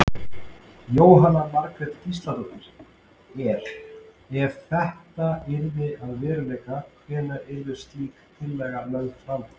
Jóhanna Margrét Gísladóttir: Er, ef þetta yrði að veruleika hvenær yrði slík tillaga lögð fram?